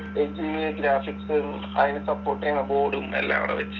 HDMI ഗ്രാഫിക്സും അതിന് support ചെയ്യുന്ന ബോർഡും അല്ലംകൂടെ വെച്ച്